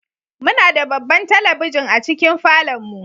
Muna da babban talabijin a cikin falon mu.